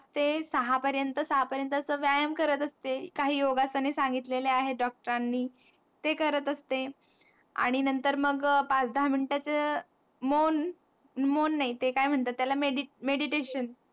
ते सहा पर्यंत सहा पर्यंत अस व्यायाम करत असते. काही योगासने सांगितलेले आहे Doctor नी ते करत असते. आणि नंतर मग पाच-दहा minute च मोन मोन नाही ते काय म्हणतात त्याला Meditation